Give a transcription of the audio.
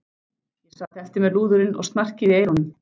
Ég sat eftir með lúðurinn og snarkið í eyrunum.